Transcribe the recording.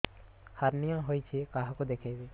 hernia ହୋଇଛି କାହାକୁ ଦେଖେଇବି